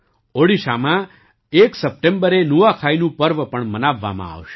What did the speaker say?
ઓડિશામાં ૧ સપ્ટેમ્બરે નુઆખાઈનું પર્વ પણ મનાવવામાં આવશે